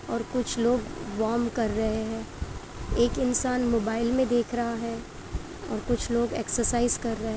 और कुछ लोग वॉर्म कर रहे हैं। एक इंसान मोबाइल में देख रहा है और कुछ लोग एक्सरसाइज कर रहे --